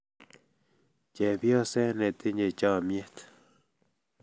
Chepyoset netinye chomyet